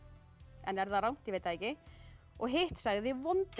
en er það rangt ég veit það ekki og hitt sagði